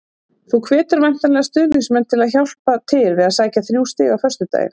Þú hvetur væntanlega stuðningsmenn til að hjálpa til við að sækja þrjú stig á föstudag?